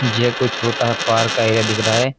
ये कोई छोटा पार्क का एरिया दिख रहा है।